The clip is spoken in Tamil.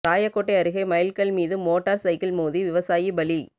ராயக்கோட்டை அருகே மைல் கல் மீது மோட்டார் சைக்கிள் மோதி விவசாயி பலி